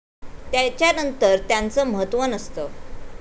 त्याच्यानंतर त्याचं महत्त्व नसतं.